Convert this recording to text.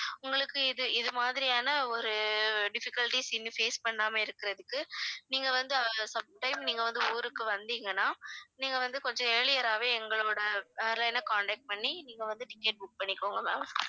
உங்களுக்கு இது இது மாதிரியான ஒரு difficulties இனி face பண்ணாம இருக்கறதுக்கு நீங்க வந்து அஹ் some time நீங்க வந்து ஊருக்கு வந்தீங்கன்னா நீங்க வந்து கொஞ்சம் earlier ஆவே எங்களோட airline அ contact பண்ணி நீங்க வந்து ticket book பண்ணிக்கோங்க ma'am